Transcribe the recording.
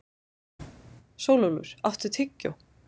Sólúlfur, áttu tyggjó?